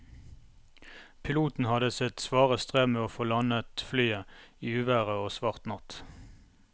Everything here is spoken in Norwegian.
Piloten hadde sitt svare strev med å få landet flyet i uvær og svart natt.